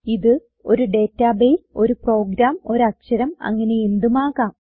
ഇത് ഒരു ഡേറ്റാബേസ് ഒരു പ്രോഗ്രാം ഒരു അക്ഷരം അങ്ങനെ എന്തുമാകാം